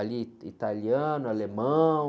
Ali, italiano, alemão.